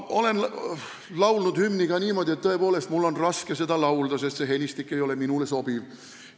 Olen hümni ka niimoodi laulnud, et mul on tõepoolest raske seda laulda olnud, sest helistik ei ole minule sobinud.